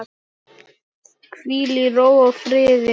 Hvíl í ró og friði.